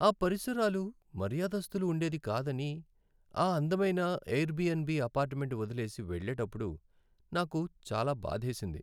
ఆ పరిసరాలు మర్యాదస్తులు ఉండేది కాదని ఆ అందమైన ఎయిర్బిఎన్బి అపార్ట్మెంట్ వదిలేసి వెళ్ళేటప్పుడు నాకు చాలా బాధేసింది.